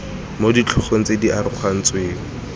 mo ditlhogo tse di arogantsweng